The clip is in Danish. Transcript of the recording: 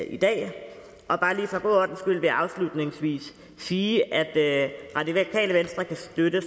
i dag bare lige for god ordens skyld vil jeg afslutningsvis sige at radikale venstre kan støtte